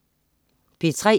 P3: